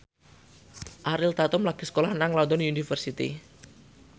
Ariel Tatum lagi sekolah nang London University